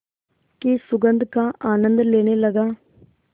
की सुगंध का आनंद लेने लगा